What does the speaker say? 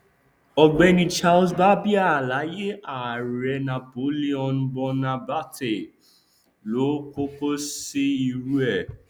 ọgbẹni charles barbier láyé ààrẹ napoleon bonaparte ló kọkọ ṣe irú ẹ